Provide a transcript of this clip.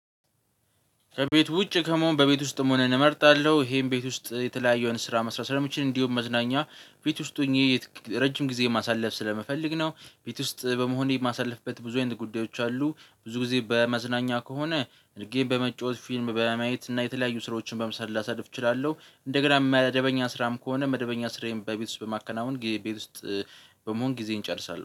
ከቤት ውጪ ከመሆን በቤት ውስጥ መሆንን እመርጣለሁ ይሄም ቤት ውስጥ የተለያዩ አይነት ስራ መስራት ስለምችል እንዲሁ መዝናኛ ቤት ውስጥ ሆኜ ረጅም ጊዜ ማሳለፍ ስለምፈልግ ነው። ቤት ውስጥ በመሆኔ የማሳልፍበት ብዙ አይነት ጉዳዮች አሉ። ብዙ ጊዜ በመዝናኛ ከሆነ ጌም በመጫወት ፊልም በማየት እና የተለያዩ ስራዎችን በመስራት ላሳልፍ እችላለሁ። እንደገና መደበኛ ስራም ከሆነ መደበኛ ስራዬን በቤት ውስጥ በማከናወን ቤት ውስጥ በመሆን ጊዜየን እንጨርሳለን